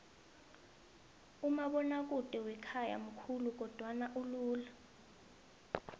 umabonakude wakhaya mkhulu kodwana ulula